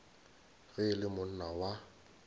ge e le monna wa